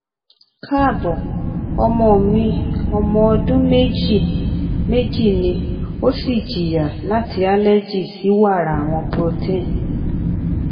kaabo ọmọ mi ọmọ ọdun meji meji ni o si jiya lati allergy si wara awọn protein